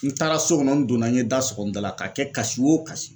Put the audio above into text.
N taara so kɔnɔ n donna n ye da sokɔ n da la ka kɛ kasi wo kasi